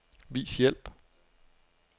Vis hjælp.